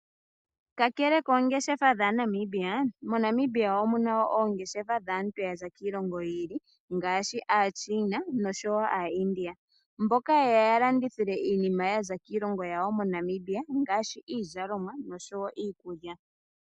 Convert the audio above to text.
Kakele koongeshefa dhaa Namibia, mo Namibia omuna oongeshefa dhaantu yaza kiilongo yiili ngaashi a China oshowo a India mboka yeya yalandithile iinima yaza kiilongo yawo mo Namibia ngaashi iizalomwa noshowo iikulya.